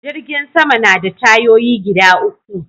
Jirgin Sama na da tayoyi gida uku